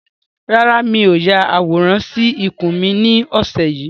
Rárá, mi ò ya àwòrán sì ikùn mi ni ọ̀sẹ̀ yìí